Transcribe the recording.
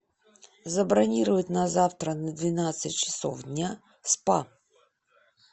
забронировать на завтра на двенадцать часов дня спа